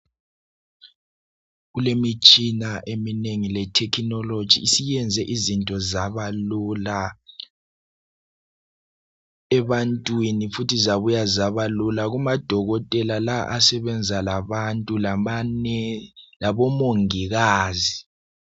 Kulemitshina eminengi le technology isiyenze izinto zabalula ebantwini futhi zabuya zabalula kumadokotela la asebenza labantu labomongikazi